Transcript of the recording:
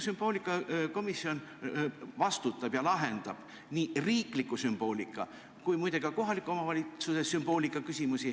Sümboolikakomisjon lahendab nii riikliku sümboolika kui muide ka kohaliku omavalitsuse sümboolika küsimusi.